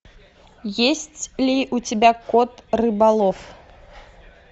есть ли у тебя кот рыболов